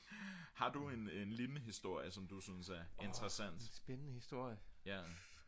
har du en lignende historie som du synes er interessant?